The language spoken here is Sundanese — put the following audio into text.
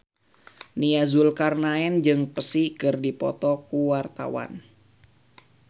Nia Zulkarnaen jeung Psy keur dipoto ku wartawan